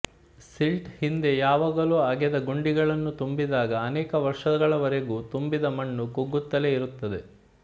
silt ಹಿಂದೆ ಯಾವಾಗಲೋ ಅಗೆದ ಗುಂಡಿಗಳನ್ನು ತುಂಬಿದಾಗ ಅನೇಕ ವರ್ಷಗಳವರೆಗೂ ತುಂಬಿದ ಮಣ್ಣು ಕುಗ್ಗುತ್ತಲೇ ಇರುತ್ತದೆ